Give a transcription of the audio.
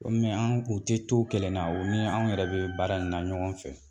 Mɛ an kun tɛ to kelenna o ni an yɛrɛ bɛ baara in na ɲɔgɔn fɛ